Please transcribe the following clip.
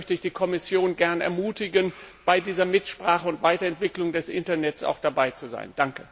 Deshalb möchte ich die Kommission gern ermutigen, bei dieser Mitsprache und Weiterentwicklung des Internets auch dabei zu sein.